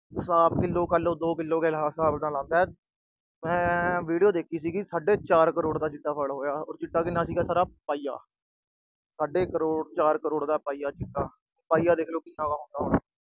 Kilo kilo, ਦੋ kilo ਦੇ ਹਿਸਾਬ ਨਾਲ ਆਉਂਦਾ, ਮੈਂ video ਦੇਖੀ ਸੀ, ਸਾਢੇ ਚਾਰ ਕਰੋੜ ਦਾ ਚਿੱਟਾ ਫੜ ਹੋਇਆ ਚਿੱਟਾ ਕਿੰਨਾ ਸੀਗਾ ਸਾਰਾ ਪਾਈਆ। ਸਾਢੇ ਚਾਰ ਕਰੋੜ ਦਾ ਪਾਈਆ ਚਿੱਟਾ, ਪਾਈਆ ਦੇਖ ਲੋ ਹੁਣ ਕਿੰਨਾ ਹੁੰਦਾ ਆ।